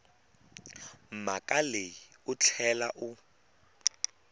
mhaka leyi u tlhela u